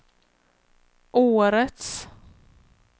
årets